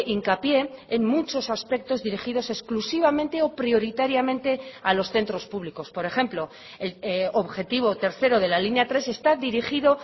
hincapié en muchos aspectos dirigidos exclusivamente o prioritariamente a los centros públicos por ejemplo objetivo tercero de la línea tres está dirigido